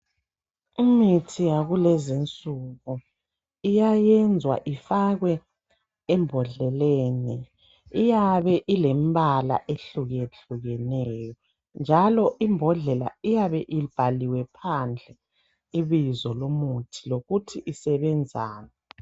Imithi yakulezi isuku iyanyenza ifakwe ebhondleni iyabe ilembala ehluke hluke neyo njalo ibhondlela iyabe ibhaliwe phandle ibizo lomuthi lokuthi isebenzani